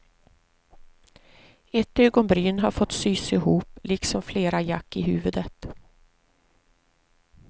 Ett ögonbryn har fått sys ihop, liksom flera jack i huvudet.